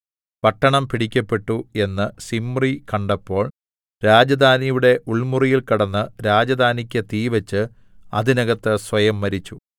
പട്ടണം പിടിക്കപ്പെട്ടു എന്ന് സിമ്രി കണ്ടപ്പോൾ രാജധാനിയുടെ ഉൾമുറിയിൽ കടന്ന് രാജധാനിക്ക് തീവെച്ച് അതിനകത്ത് സ്വയം മരിച്ചു